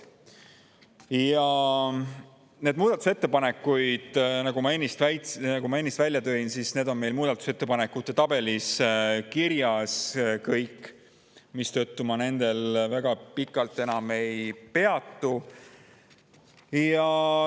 Need muudatusettepanekud, nagu ma ennist välja tõin, on meil muudatusettepanekute tabelis kirjas, mistõttu ma nendel väga pikalt enam ei peatu.